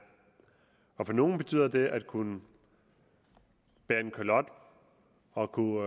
og for nogle betyder det at kunne bære kalot og kunne